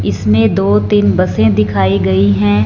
इसमें दो तीन बसें दिखाई गई हैं।